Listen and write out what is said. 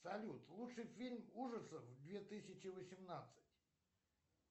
салют лучший фильм ужасов две тысячи восемнадцать